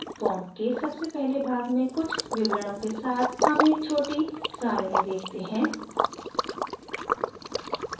form के सबसे पहले भाग में कुछ विवरणों के साथ हम एक छोटी सरणी देखते हैं